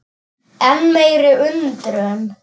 Enn meiri undrun